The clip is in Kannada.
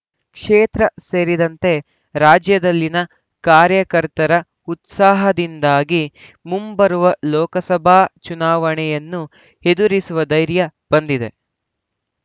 ಕ್ಷೇತ್ರ ಸೇರಿದಂತೆ ರಾಜ್ಯದಲ್ಲಿನ ಕಾರ್ಯಕರ್ತರ ಉತ್ಸಾಹದಿಂದಾಗಿ ಮುಂಬರುವ ಲೋಕಸಭಾ ಚುನಾವಣೆಯನ್ನು ಎದುರಿಸುವ ಧೈರ್ಯ ಬಂದಿದೆ